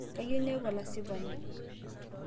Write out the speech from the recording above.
kayieu niaku olasipani